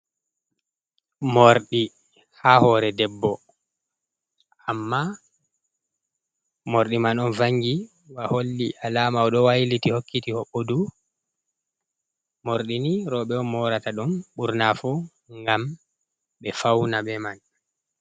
Moorɗi ha hoore debbo, amma moorɗi man ɗo vangi ba holli alaama o ɗo wayliti, hokkiti, hoɓɓdu. Moorɗi ni, roɓe on moorata ɗum ɓurnaa fu ngam ɓe fawna be man.